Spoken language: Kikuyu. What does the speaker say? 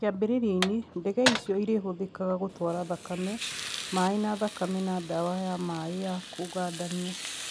Kĩambĩrĩria-inĩ, ndege icio irĩhũthĩkaga gũtwara thakame, maĩ ma thakame na dawa ya maĩ ya kũgandania